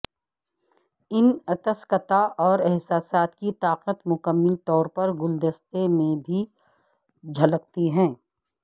ان اتسکتا اور احساسات کی طاقت مکمل طور پر گلدستے میں بھی جھلکتی ہے